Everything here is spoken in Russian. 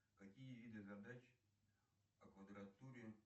какие виды задач о квадратуре